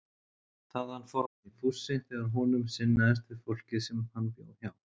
Þaðan fór hann í fússi þegar honum sinnaðist við fólkið sem hann bjó hjá.